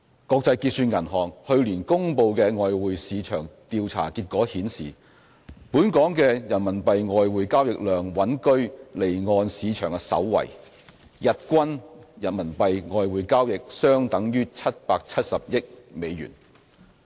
國際結算銀行去年公布的外匯市場調查結果顯示，本港的人民幣外匯交易量穩居離岸市場首位，日均人民幣外匯交易相等於770億美元。